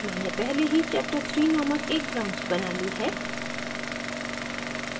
मैंने पहले ही chapterthree named एक branch बना ली है